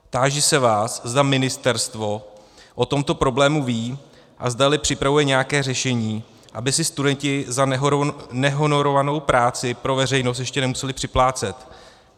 Táži se vás, zda ministerstvo o tomto problému ví a zdali připravuje nějaké řešení, aby si studenti za nehonorovanou práci pro veřejnost ještě nemuseli připlácet.